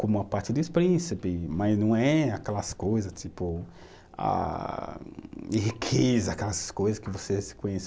como a parte dos príncipes, mas não é aquelas coisa, tipo, ah de riqueza, aquelas coisa que você se conhece.